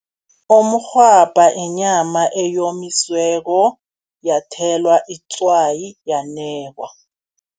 Umrhwabha inyama eyomisiweko, yathelwa itswayi yanekwa.